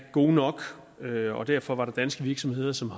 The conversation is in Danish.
gode nok og derfor derfor var der danske virksomheder som